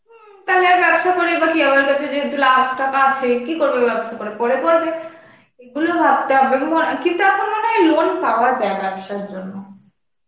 হমম তাহলে আর ব্যবসা করেই বা কি আমার কাছে যেহেতু লাখ টাকা আছে. কি করবে ব্যবসা করে? পরে করবে. এগুলো ভাবতে হবে প~ কিন্তু এখন মনে হয় loan পাওয়া যায় ব্যবসার জন্য.